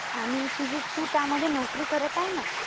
आणि तू त्यामध्ये नोकरी करत आहे ना.